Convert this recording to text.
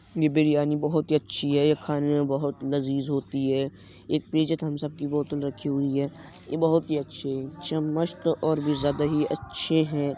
ये बिरयानी बोहोत ही अच्छी है खाने में बोहोत लज़ीज़ होती है एक पीछे थमस अप की बोतल रखी हुई है ये बोहोत ही अच्छी है चम्मच तो और भी ज़्यादा ही अच्छे हैं।